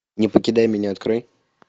не покидай меня открой